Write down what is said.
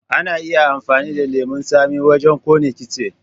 Ana iya amfani da lemon tsami wajen kona kitse.